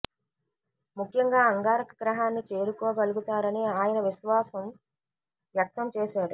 ముఖ్యంగా అంగారక గ్రహాన్ని చేరుకోగలుగుతారని ఆయన విశ్వాసం వ్యక్తం చేశాడు